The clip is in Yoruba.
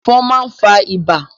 Ẹ̀fọn máa n fa ibà.